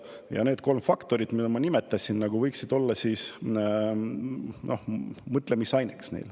Ja need kolm faktorit, mida ma nimetasin, võiksid olla neile mõtlemisaineks.